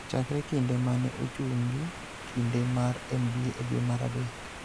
Chakre kinde ma ne ochungi kinde mar NBA e dwe mar adek